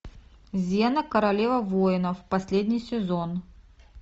зена королева воинов последний сезон